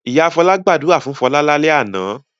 Ìyá Fọlá gbàdúrà fún Fọlá lálẹ́ àná?